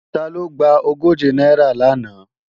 Taló gba ogóje náírà lánàá?